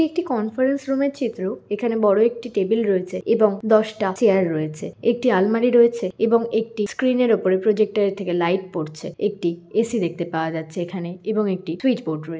একটি conference room - এর চিত্র | এখানে বড়ো একটি টেবিল রয়েছে এবং দশটা চেয়ার - ও রয়েছে | একটি আলমারি রয়েছে এবং একটি স্ক্রিন -এর উপরে প্রজেক্টের এর থেকে লাইট পড়ছে | একটি এ.সি. দেখতে পাওয়া যাচ্ছে এখানে এবং একটি সুইচ বোর্ড রয়েছে।